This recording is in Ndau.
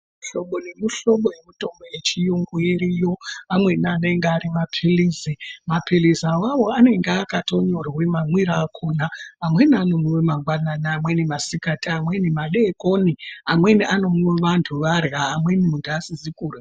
Muhlobo nemuhlobo yemutombo yechiyungu iriyo amweni anenge ari mapilizi mapilizi awawo anenge akatonyorwe mamwire akhonaamweni anomwiwe mangwanani amweni masikati amweni madekoni amweni anomwiwe vantu arya amweni muntu asizi kurya